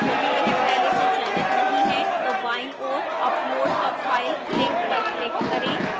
यदि यह पहले से चयनित नहीं है तो बाईं ओर upload a file link पर click करें